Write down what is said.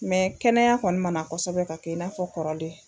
kɛnɛya kɔni ma na kosɛbɛ ka kɛ i n'a fɔ kɔrɔlen.